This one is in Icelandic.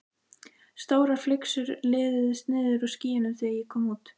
Stórar flygsur liðuðust niður úr skýjunum þegar ég kom út.